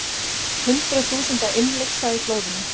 Hundruð þúsunda innlyksa í flóðunum